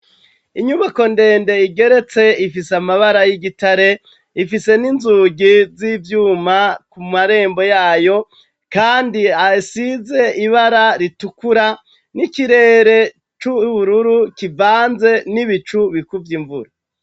Inyubako ndende igeretse ifise amabara y'igitare ifise n'inzugi z'ivyuma ku marembo yayo kandi hasize ibara ritukura n'ikirere c'ubururu kivanze n'ibicu bikuvye imvura.